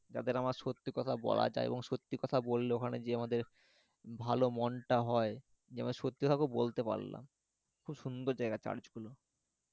যাদের আমার সত্যি কথা বলা যায় এবং সত্যি কথা বললে ওখানে যেয়ে আমাদের ভালো মন টা হয় যে আমি সত্যি টা কাওকে বলতে পারলাম খুব সুন্দর জায়গা church গুলো